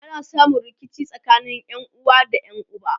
ana samun rikici tsakanin ƴanuwa da ƴan uba